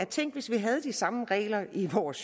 tænk hvis vi havde de samme regler i vores